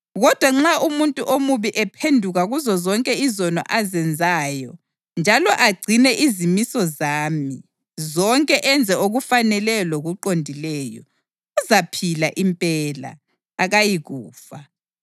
Kodwa nxa umuntu omubi ephenduka kuzozonke izono azenzayo njalo agcine izimiso zami zonke enze okufaneleyo lokuqondileyo, uzaphila impela, akayikufa.